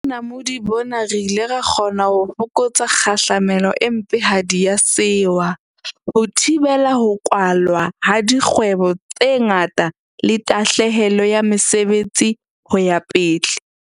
Ka bonamodi bona re ile ra kgona ho fokotsa kgahlamelo e mpehadi ya sewa, ho thibela ho kwalwa ha dkgwebo tse ngata le tahlehelo ya mesebetsi ho ya pele.